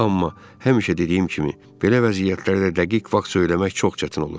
Amma həmişə dediyim kimi, belə vəziyyətlərdə dəqiq vaxt söyləmək çox çətin olur.